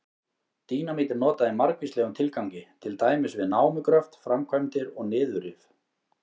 Dínamít er notað í margvíslegum tilgangi, til dæmis við námugröft, framkvæmdir og niðurrif.